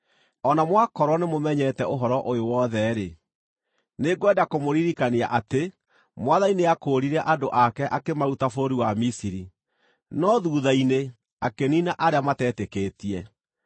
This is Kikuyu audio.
O na mwakorwo nĩmũmenyete ũhoro ũyũ wothe-rĩ, nĩngwenda kũmũririkania atĩ Mwathani nĩakũũrire andũ ake akĩmaruta bũrũri wa Misiri, no thuutha-inĩ akĩniina arĩa matetĩkĩtie.